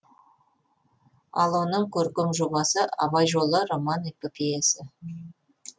ал оның көркем жобасы абай жолы роман эпопеясы